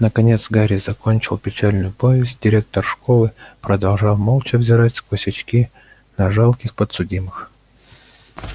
наконец гарри закончил печальную повесть директор школы продолжал молча взирать сквозь очки на жалких подсудимых